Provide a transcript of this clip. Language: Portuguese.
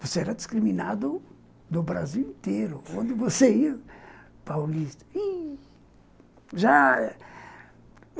Você era discriminado no Brasil inteiro, onde você ia, paulista... Ih... Já...